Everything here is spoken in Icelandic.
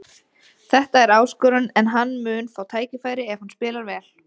Þetta er áskorun en hann mun fá tækifæri ef hann spilar vel.